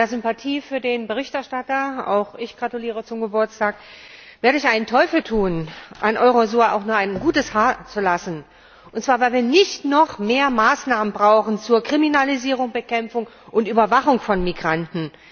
Bei aller Sympathie für den Berichterstatter auch ich gratuliere zum Geburtstag werde ich einen Teufel tun, an Eurosur auch nur ein gutes Haar zu lassen, und zwar weil wir nicht noch mehr Maßnahmen brauchen zur Kriminalisierung, Bekämpfung und Überwachung von Migranten!